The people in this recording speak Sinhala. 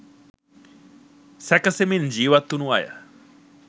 සැකසෙමින් ජීවත් වුණු අය.